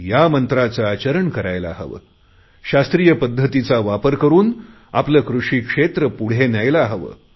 या मंत्राचे आचरण करायला हवे शास्त्रीय पद्धतीचा वापर करुन आपले कृषी क्षेत्र पुढे न्यायला हवे